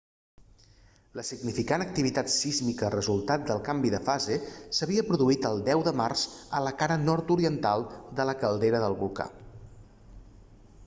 la significant activitat sísmica resultat del canvi de fase s'havia produït el 10 de març a la cara nord-oriental de la caldera del volcà